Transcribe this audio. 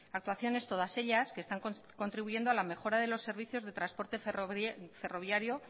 actuaciones todas ellas que están contribuyendo a la mejora de los servicios de transporte ferroviario